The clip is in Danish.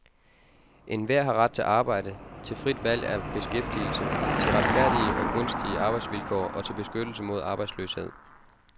Enhver har ret til arbejde, til frit valg af beskæftigelse, til retfærdige og gunstige arbejdsvilkår og til beskyttelse mod arbejdsløshed.